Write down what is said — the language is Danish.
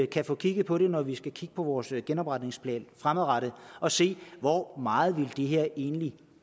kan få kigget på det når vi skal kigge på vores genopretningsplan fremadrettet og se på hvor meget det her egentlig